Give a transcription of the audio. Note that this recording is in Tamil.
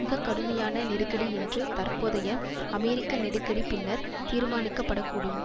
மிக கடுமையான நெருக்கடி என்று தற்போதைய அமெரிக்க நெடுக்கடி பின்னர் தீர்மானிக்கப்படக்கூடும்